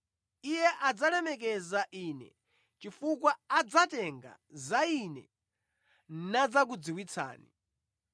Iye adzalemekeza Ine chifukwa adzatenga za Ine nadzakudziwitsani.